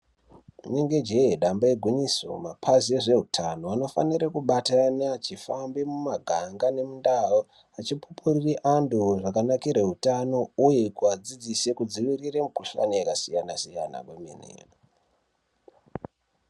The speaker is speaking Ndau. Rinenge jee damba igwinyiso mapazi ezveutano anofanire kubatana vachifamba mumaganga nemundau vachipupurire antu zvakanakire utano uye kuadzidzise kudzivirira mikuhlani yakasiyana siyana.